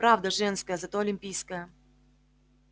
правда женская зато олимпийская